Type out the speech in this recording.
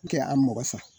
N tɛ a mɔgɔ sa